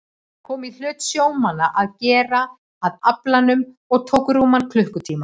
Það kom í hlut sjómannanna að gera að aflanum og tók rúman klukkutíma.